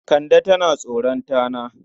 Kande tana tsoron tana.